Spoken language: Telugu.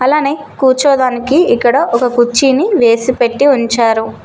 అలానే కూర్చోదానికి ఇక్కడ ఒక కుర్చీని వేసి పెట్టి ఉంచారు.